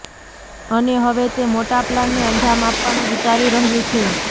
અને હવે તે મોટા પ્લાનને અંજામ આપવાનું વિચારી રહ્યું છે